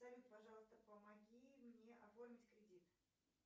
салют пожалуйста помоги мне оформить кредит